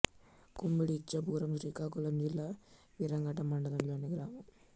కుంబిడి ఇచ్ఛాపురం శ్రీకాకుళం జిల్లా వీరఘట్టం మండలం లోని గ్రామం